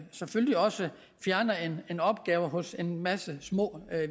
selvfølgelig også fjerner en en opgave hos en masse små